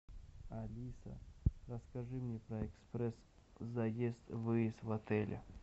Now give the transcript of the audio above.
алиса расскажи мне про экспресс заезд и выезд в отеле